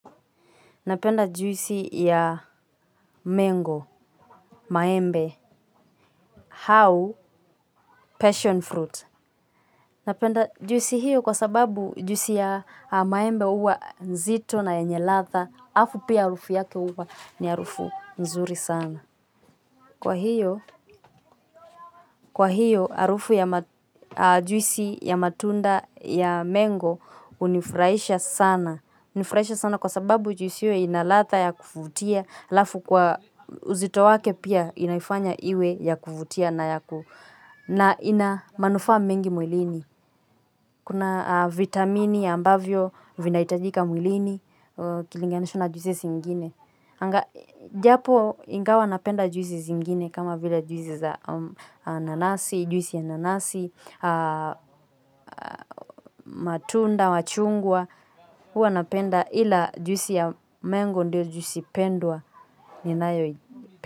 Napenda juisi ya mengo, maembe, hau, passion fruit. Napenda juisi hiyo kwa sababu juisi ya maembe huwa nzito na yenye ladha. Afu pia harufu yake uwa ni arufu nzuri sana. Kwa hiyo harufu ya juisi ya matunda ya mengo hunifurahisha sana. Hunifurahisha sana kwa sababu juisi iyo ina ladha ya kufutia. Alafu kwa uzito wake pia inaifanya iwe ya kuvutia na ya ku, na ina manufaa mengi mwilini. Kuna vitamini ambavyo vinahitajika mwilini ikilinganishwa na juisi zingine. Japo ingawa napenda juisi zingine kama vile juisi za nanasi, juisi ya nanasi, matunda, machungwa hua napenda ila juisi ya mengo ndio juisi pendwa ninayo.